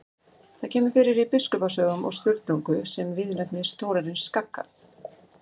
Það kemur fyrir í Biskupasögum og Sturlungu sem viðurnefni Þórarins kagga.